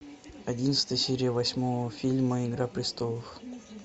одиннадцатая серия восьмого фильма игра престолов